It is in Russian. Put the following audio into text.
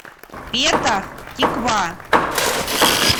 петах тиква